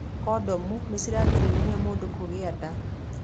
Kondomu nĩ cirigagĩrĩria mũndũ kũgĩa nda.